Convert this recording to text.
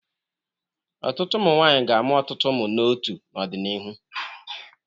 Ọtụtụ ụmụ nwaanyi ga-amụ ọtụtụ ụmụ n'ótuú n'ọdịnihu.